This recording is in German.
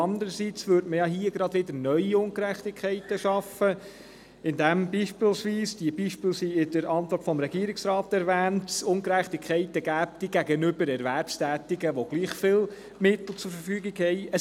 Andererseits würde man gerade wieder neue Ungerechtigkeiten schaffen, indem es beispielsweise – diese Beispiele werden in der Antwort des Regierungsrats erwähnt – Ungerechtigkeiten gegenüber Erwerbstätigkeiten gäbe, denen gleich viele Mittel zur Verfügung stehen.